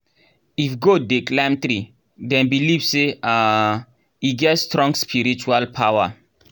if goat dey climb tree dem believe say um e get strong spiritual power.